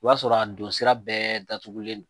O y'a sɔrɔ a donsira bɛɛ datugulen don